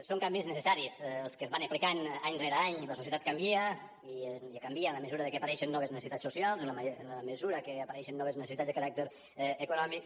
són canvis necessaris els que es van aplicant any rere any la societat canvia i canvia en la mesura que apareixen noves necessitats socials en la mesura que apareixen noves necessitats de caràcter econòmic